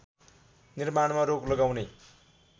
निर्माणमा रोक लगाउने